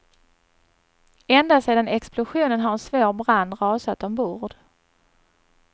Ända sedan explosionen har en svår brand rasat ombord.